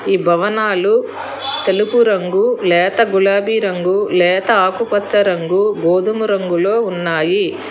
ఈ భవనాలు తెలుపు రంగు లేత గులాబీ రంగు లేత ఆకుపచ్చ రంగు గోధుమ రంగులో ఉన్నాయి.